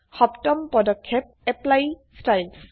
সপ্তম পদক্ষেপ160 apply Styles